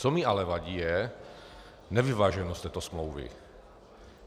Co mi ale vadí, je nevyváženost této smlouvy.